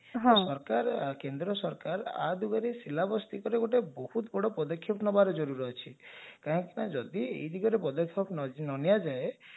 ହଁ ତ ସରକାର କେନ୍ଦ୍ର ସରକାର ୟା ଦିଗରେ syllabus fee ଉପରେ ବହୁତ ବଡ ପଦକ୍ଷେପ ନେବାର ଜରୁରୀ ଅଛି କାହିଁକି ନା ଯଦି ଏ ଦିଗରେ ପଦକ୍ଷେପ ନ ନିଆଯାଏ